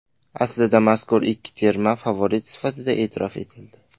Aslida mazkur ikki terma favorit sifatida e’tirof etildi.